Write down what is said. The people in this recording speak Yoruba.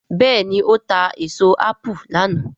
béèni o ta èso apu lànà.